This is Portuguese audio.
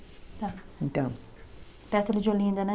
Tá. Então. Perto ali de Olinda, né?